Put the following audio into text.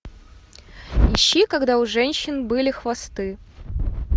ищи когда у женщин были хвосты